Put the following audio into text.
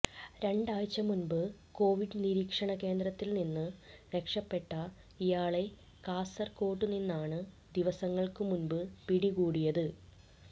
രണ്ടാഴ്ചമുമ്പ് Covid നിരീക്ഷണകേന്ദ്രത്തിൽനിന്ന് രക്ഷപ്പെട്ട ഇയാളെ കാസർകോട്ടുനിന്നാണ് ദിവസങ്ങൾക്കുമുമ്പ് പിടികൂടിയത്